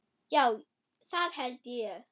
Já, það held ég.